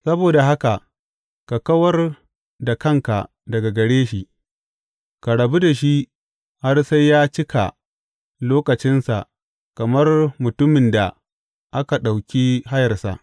Saboda haka ka kawar da kanka daga gare shi, ka rabu da shi har sai ya cika lokacinsa kamar mutumin da aka ɗauki hayarsa.